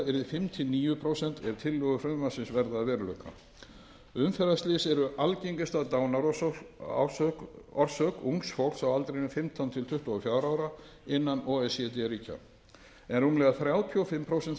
meðal nýliða yrði fimm til níu prósent ef tillögur frumvarpsins verða að veruleika umferðarslys eru algengasta dánarorsök fólks á aldrinum fimmtán til tuttugu og fjögurra ára innan o e c d ríkja en rúmlega þrjátíu og fimm prósent